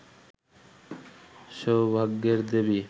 সৌভাগ্যের দেবী